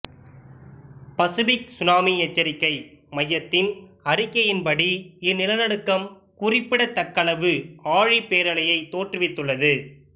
Pacific tsunami எச்சரிக்கை மையத்தின் அறிக்கையின்படி இந்நிலநடுக்கம் குறிப்பிடத்தக்களவு ஆழிப்பேரலையைத் தோற்றுவித்துள்ளது